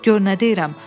Gör nə deyirəm.